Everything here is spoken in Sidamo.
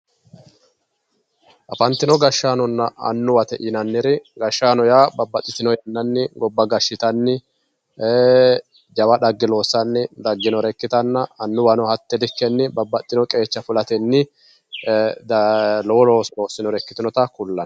Afanitino gashanonna anuwate yinaniri, gashano yaa babaxitino yananni goba gashitanni jawa xagge loossanni daginore ikkitanna, anuwanno hate likkenni babaxino qeecha fulatenni lowo looso loosinore ikkitinotta kullanni.